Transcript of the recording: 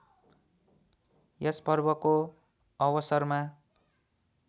यस पर्वको अवसरमा